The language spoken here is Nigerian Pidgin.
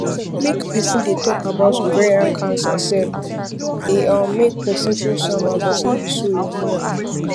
make persin dey talk about ovarian cancer sef dey um make persin feel somehow but no be so e be now